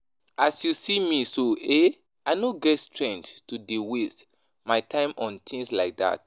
As you see me so eh I no get strength to dey waste my time on things like dat